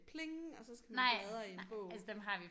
Pling og så skal man bladre i en bog